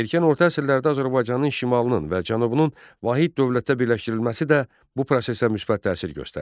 Erkən orta əsrlərdə Azərbaycanın şimalının və cənubunun vahid dövlətə birləşdirilməsi də bu prosesə müsbət təsir göstərdi.